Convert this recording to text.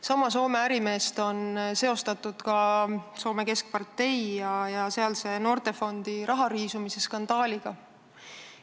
Sama Soome ärimeest on seostatud Soome keskpartei ja sealse noortefondi raha riisumise skandaaliga.